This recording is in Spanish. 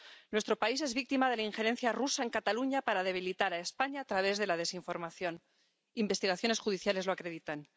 Nuestro país es víctima de la injerencia rusa en Cataluña para debilitar a España a través de la desinformación —investigaciones judiciales lo acreditan—.